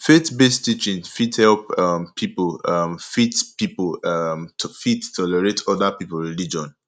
faith based teaching fit help um pipo um fit pipo um fit tolerate oda pipo religion